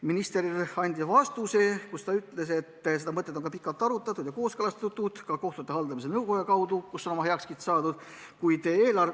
Minister vastas, et seda mõtet on pikalt arutatud ja kooskõlastatud, ka kohtute haldamise nõukojas, kus on sellele heakskiit antud.